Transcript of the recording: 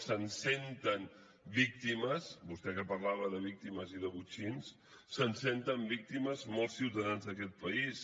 se’n senten víctimes vostè que parlava de víctimes i de botxins molts ciutadans d’aquests país